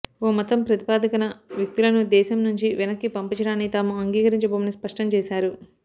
ఓ మతం ప్రాతిపదికన వ్యక్తులను దేశం నుంచి వెనక్కి పంపించడాన్ని తాము అంగీకరించబోమని స్పష్టం చేశారు